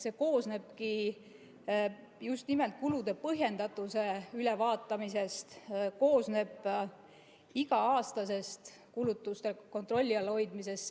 See koosnebki just nimelt kulude põhjendatuse ülevaatamisest ja iga-aastasest kulutuste kontrolli all hoidmisest.